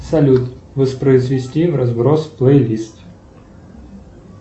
салют воспроизвести вразброс плейлист